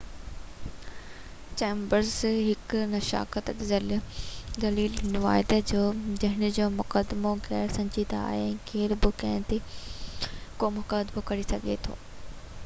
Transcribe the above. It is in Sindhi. چيمبرز ، هڪ ناستڪ، دليل ڏنو آهي ته هن جو مقدمو غير سنجیدہ آهي ۽ ڪير به ڪنهن تي به مقدمو ڪري سگهي ٿو.